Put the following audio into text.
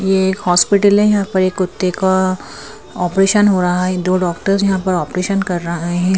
ये एक हॉस्पिटल है यहां पर एक कुत्ते का ऑपरेशन हो रहा है दो डॉक्टर्स यहां पर ऑपरेशन कर रहे हैं।